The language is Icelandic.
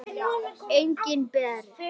Engin Bera.